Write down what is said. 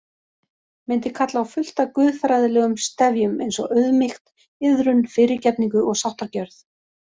Myndi kalla á fullt af guðfræðilegum stefjum eins Auðmýkt, iðrun, fyrirgefningu og sáttargjörð.